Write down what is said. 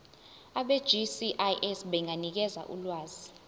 abegcis benganikeza ulwazi